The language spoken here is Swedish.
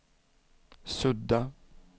sudda